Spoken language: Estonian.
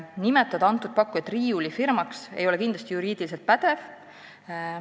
Kindlasti ei ole juriidiliselt pädev nimetada seda pakkujat riiulifirmaks.